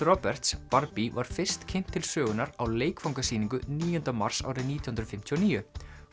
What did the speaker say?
Roberts var fyrst kynnt til sögunnar á níunda mars árið nítján hundruð fimmtíu og níu